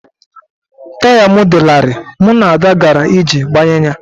Taya m dị larịị, mụ na Ada gara iji gbanye ya